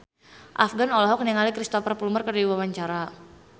Afgan olohok ningali Cristhoper Plumer keur diwawancara